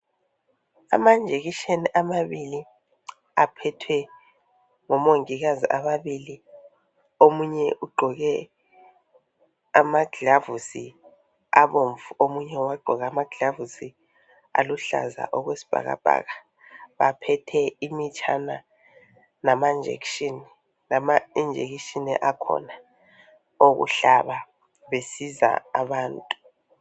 Amanjekisheni amabili, aphethwe ngomongikazi ababili. Omunye ugqoke amaglavusi abomvu. Omunye wagqoka amaglavusi aluhlaza, okwesibhakabhaka. Baphethe imitshana, lamanjekisheni akhona. Okuhlaba, besiza abantu.